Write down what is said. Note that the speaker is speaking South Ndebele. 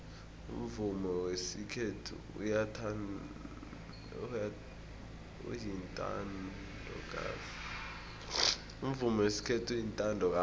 umvumo wesikhethu uyintandokazi